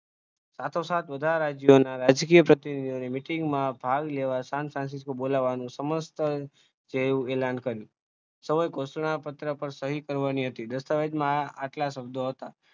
સાથોસાથ બધા રાજ્યના રાજકીય પ્રતિનિધિઓની meeting માં ભાગ લેવા ને બોલાવવાનું સમસ્ત ધ્યેય એલાન કર્યું. સર્વે ઘોષણા પત્ર પર સહી કરવાની હતી, દસ્તાવેજમાં આટલા શબ્દો હતા.